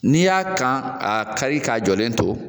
N'i y'a kan a kari ka jɔlen to